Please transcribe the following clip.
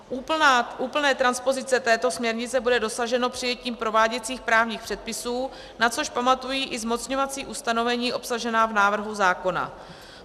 Úplné transpozice této směrnice bude dosaženo přijetím prováděcích právních předpisů, na což pamatují i zmocňovací ustanovení obsažená v návrhu zákona.